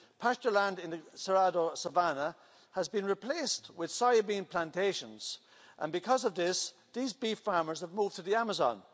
Pasture land in the savannah has been replaced with soya bean plantations, and because of this, these beef farmers have moved to the Amazon.